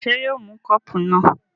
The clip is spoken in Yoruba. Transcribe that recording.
ṣé yóò ó mọ kọ́pù náà?